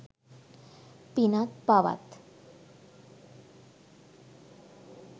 පිනත්, පවත්